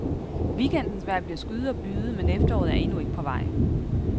Weekendens vejr bliver skyet og byget, men efteråret er endnu ikke på vej.